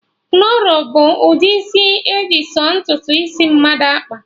Kọnro bụ ụdị isi eji sọ ntutu isi mmadụ akpa